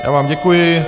Já vám děkuji.